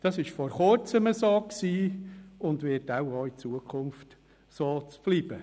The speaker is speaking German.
Das war bis vor Kurzem so, und es wird wohl auch in Zukunft so bleiben.